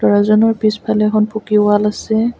ল'ৰাজনৰ পিছফালে এখন পকী ৱাল আছে।